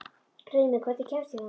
Hreimur, hvernig kemst ég þangað?